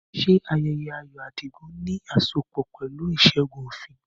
Ṣé ayẹyẹ ayọ̀ Adigun ní asopọ̀ pẹ̀lú ìṣẹ́gun òfin?